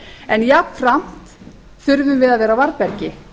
en jafnframt þurfum við að vera á varðbergi